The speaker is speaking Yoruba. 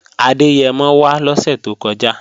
Adẹ́yẹmọ wá lọ́sè tó kọjá